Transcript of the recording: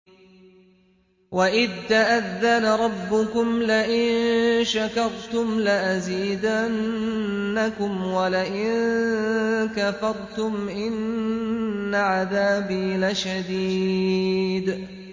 وَإِذْ تَأَذَّنَ رَبُّكُمْ لَئِن شَكَرْتُمْ لَأَزِيدَنَّكُمْ ۖ وَلَئِن كَفَرْتُمْ إِنَّ عَذَابِي لَشَدِيدٌ